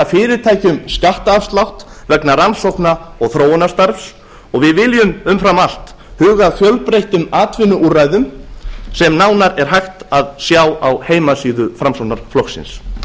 fyrirtækjum skattafslátt vegna rannsóknar og þróunarstarfs og við viljum umfram allt huga að fjölbreyttum atvinnuúrræðum sem nánar er hægt að sjá á heimasíðu framsóknarflokksins